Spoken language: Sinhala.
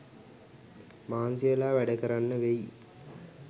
මහන්සිවෙලා වැඩකරන්න වෙයි